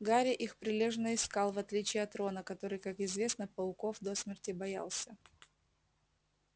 гарри их прилежно искал в отличие от рона который как известно пауков до смерти боялся